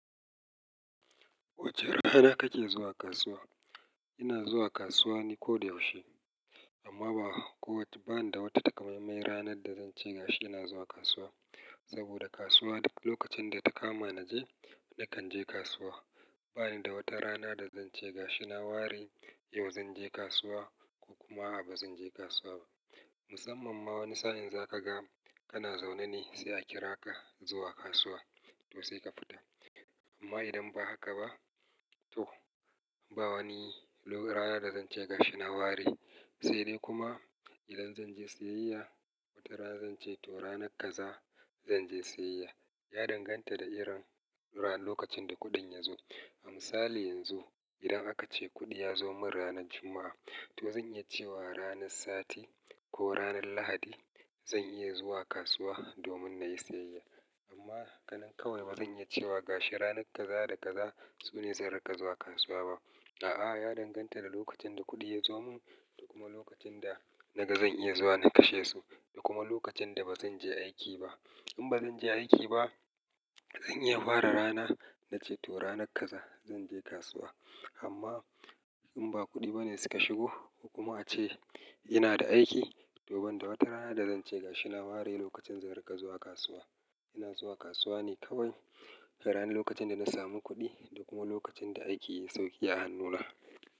Wace rana kake zuwa kasuwa? Ina zuwa kasuwa ne koyaushe. Amma ba, ko bani da wata takamaimai ranar da zan ce gashi ina zuwa kasuwa. Saboda kasuwa lokacin da ta kama naje, nakan je kasuwa. Bani da wata rana da zan ce gashi na ware yau zan je kasuwa ko kuma a'a ba zan je kasuwa ba. Musamman ma wani sa'in za kaga kana zaune ne sai a kira ka zuwa kasuwa to sai ka fita. Amma idan ba haka ba to ba wani ranar da zan ce gashi na ware. Sai dai kuma idan zan je siyayya, wata rana zan ce to ranar kaza zan je siyayya. Ya danganta da irin ranar lokacin da kuɗin ya zo. A misali yanzu idan aka ce kuɗi ya zo mun ranar Juma'a to zan iya cewa ranar Sati ko ranar Lahadi zan iya zuwa kasuwa domin na yi siyayya. Amma ganin kawai ba zan iya cewa gashi ranar kaza da kaza su ne zan riga zuwa kasuwa ba. A'a, ya danganta da lokacin da kuɗi ya zo mun da kuma lokacin da naga zan iya zuwa na kashe su da kuma lokacin da ba zan je aiki ba. In ba zan je aiki ba, zan iya fara rana na ce to ranar kaza zan je kasuwa. Amma in ba kuɗi ba ne suka shigo, kuma ace ina da aiki to ban da wata rana da zan ce gashi na ware lokacin zan riga zuwa kasuwa. Ina zuwa kasuwa ne kawai ranar lokacin da na samu kuɗi da kuma lokacin da aiki sauƙi ya hannuna.